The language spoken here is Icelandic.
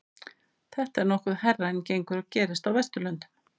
þetta er nokkuð hærra en gengur og gerist á vesturlöndum